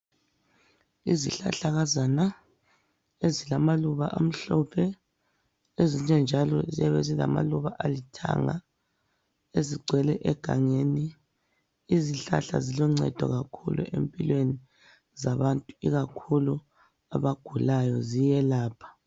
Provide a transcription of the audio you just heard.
Izihlahlakazana ezilamaluba amhlophe ezinye njalo ziyabe zilamaluba alithanga ezigcwele egangeni. Izihlahla ziloncedo kakhulu empilweni zabantu, ikakhulu abagulayo, ziyelapha.